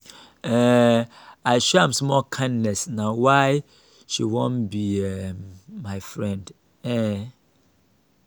um i show am small kindness na why she wan be um my friend. um